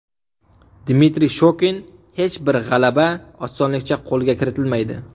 Dmitriy Shokin: Hech bir g‘alaba osonlikcha qo‘lga kiritilmaydi.